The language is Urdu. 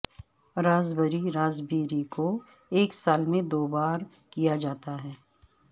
راسبری راسبیری کو ایک سال میں دو بار کیا جاتا ہے